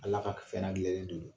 Ala ka k fɛrɛn gɛlɛnlen de don.